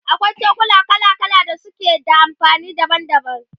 akwai cokula kala kala da suke da amfani daban daban